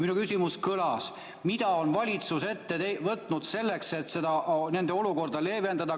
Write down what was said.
Minu küsimus kõlas: mida on valitsus ette võtnud selleks, et nende olukorda leevendada?